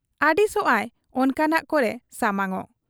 ᱟᱹᱲᱤᱥᱚᱜ ᱟᱭ ᱚᱱᱠᱟᱱᱟᱜ ᱠᱚᱨᱮ ᱥᱟᱢᱟᱝᱚᱜ ᱾